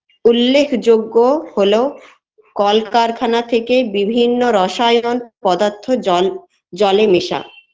উল্লেখযোগ্য হলো কলকারখানা থেকে বিভিন্ন রসায়ন পদার্থ জল জলে মেশা